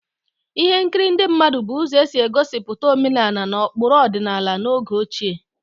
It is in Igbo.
Folk dramas were means of portraying traditional traditional cultures and values in the ancient time.